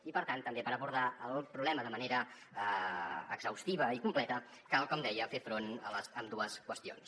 i per tant també per abordar el problema de manera exhaustiva i com·pleta cal com deia fer front a ambdues qüestions